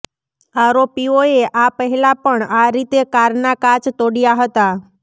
આરોપીઓએ આ પહેલાં પણ આ રીતે કારના કાચ તોડ્યા હતા